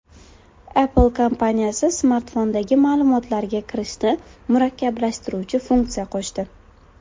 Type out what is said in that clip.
Apple kompaniyasi smartfondagi ma’lumotlarga kirishni murakkablashtiruvchi funksiya qo‘shdi.